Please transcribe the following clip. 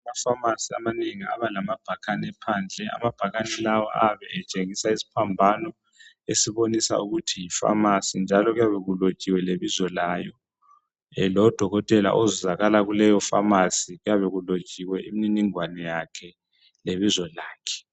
Amapharmacy amanengi abalama bhakane phandle .Amabhakane lawa ayabe etshengisa isiphambano esibonisa ukuthi yi pharmacy .Njalo kuyabe kulotshiwe lebizo layo .Lodokotela ozuzakala kuleyo pharmacy kuyabe kulotshiwe imniningwane yakhe lebizo lakhe .